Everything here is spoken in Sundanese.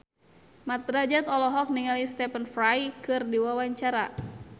Mat Drajat olohok ningali Stephen Fry keur diwawancara